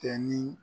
Kɛ ni